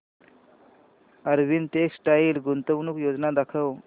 Arvind textile गुंतवणूक योजना दाखव